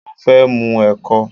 Mo fẹ́ mù ẹ̀kọ